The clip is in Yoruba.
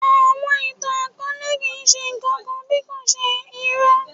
Àwọn ìtàn-akọọlẹ kii ṣe nkankan bí kò ṣe irọ.